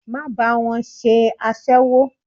Má bá wọn ṣe aséwó!